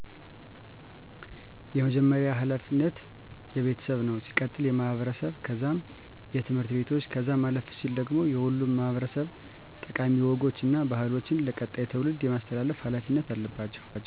የመጀመርያዉ ሀላፊነት የቤተሰብ ነዉ ሲቀጥል የማህበረሰብ ከዛም የትምህርት ቤቶች ከዛም አለፍ ሲል ደግሞ ሁሉም ማህበረሰብ ጠቃሚ ወጎች እና ባህሎችን ለቀጣይ ትዉልድ የማስተላለፍ ሀላፊነት አለባቸዉ